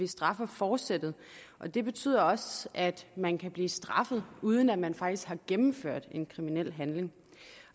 straffer forsættet og det betyder også at man kan blive straffet uden at man faktisk har gennemført en kriminel handling